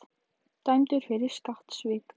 Dæmdur fyrir skattsvik